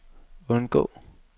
undgå